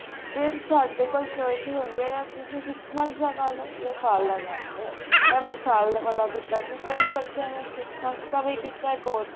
ਫਿਰ ਸਾਡੇ ਕੋਲ choices ਹੁੰਦੀਆਂ ਤੁਸੀਂ six month ਦਾ ਕਰਲੋ ਜਾਂ ਸਾਲ ਦਾ ਕਰਲੋ ਮੈਂ ਸਾਲ ਵਾਲਾ ਕੀਤਾ ਸੀ ਕਈ ਬੱਚਿਆਂ ਨੇ six month ਦਾ ਕੀਤਾ course